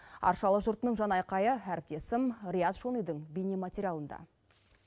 аршалы жұртының жан айқайы әріптесім риат шонидің бейнематериалында